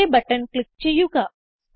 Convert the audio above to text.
okay button click ചെയ്യുക